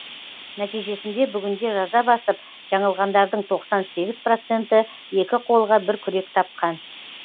нәтижесінде бүгінде жаза басып жаңылғандардың тоқсан сегіз проценті екі қолға бір күрек тапқан